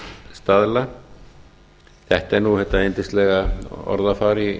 staðla þetta er þetta yndislega orðafar í